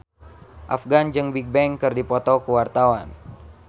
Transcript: Afgan jeung Bigbang keur dipoto ku wartawan